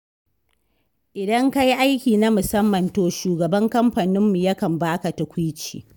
Idan ka yi aiki na musamman to shugaban kamfaninmu ya kan baka tukuici.